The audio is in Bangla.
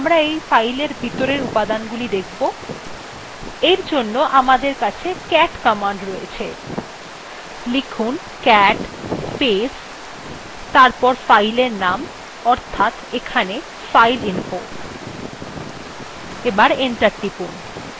কিন্তু কিকরে আমরা এই file ভিতরের উপাদান গুলো দেখব এর জন্য আমাদের কাছে cat command রয়েছে লিখুন cat space তারপর file এর name অর্থাৎ এখানে fileinfo